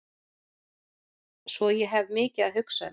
Svo ég hef mikið að hugsa um.